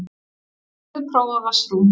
Hefurðu prófað vatnsrúm?